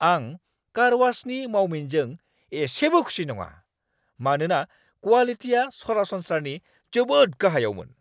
आं कारवाशनि मावमिनजों एसेबो खुसि नङा, मानोना क्वालिटिया सरासनस्रानि जोबोद गाहायावमोन।